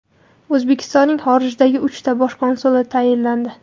O‘zbekistonning xorijdagi uchta bosh konsuli tayinlandi.